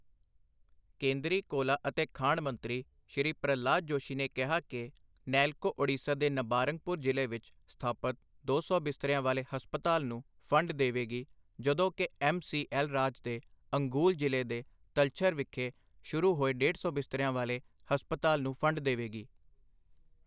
ਕੇਂਦਰੀ ਕੋਲਾ ਅਤੇ ਖਾਣ ਮੰਤਰੀ ਸ਼੍ਰੀ ਪ੍ਰਹਲਾਦ ਜੋਸ਼ੀ ਨੇ ਕਿਹਾ ਕਿ, ਨੈਲਕੋ ਓਡੀਸ਼ਾ ਦੇ ਨਬਾਰੰਗਪੁਰ ਜ਼ਿਲ੍ਹੇ ਵਿੱਚ ਸਥਾਪਿਤ ਦੋ ਸੌ ਬਿਸਤਰਿਆਂ ਵਾਲੇ ਹਸਪਤਾਲ ਨੂੰ ਫੰਡ ਦੇਵੇਗੀ, ਜਦੋਂ ਕਿ ਐੱਮ ਸੀ ਐੱਲ ਰਾਜ ਦੇ ਅੰਗੂਲ ਜ਼ਿਲ੍ਹੇ ਦੇ ਤਲਛਰ ਵਿਖੇ ਸ਼ੁਰੂ ਹੋਏ ਡੇਢ ਸੌ ਬਿਸਤਰਿਆਂ ਵਾਲੇ ਹਸਪਤਾਲ ਨੂੰ ਫੰਡ ਦੇਵੇਗੀ।